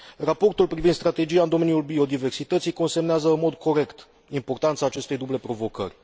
Raportul privind strategia în domeniul biodiversității consemnează în mod corect importanța acestei duble provocări.